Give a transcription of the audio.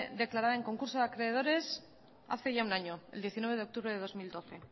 declarada en concurso de acreedores ya hace un año el diecinueve de octubre del dos mil doce